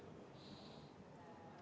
Riina Sikkut, palun!